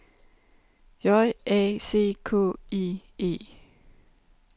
J A C K I E